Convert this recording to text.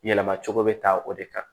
Yɛlɛma cogo bɛ taa o de kan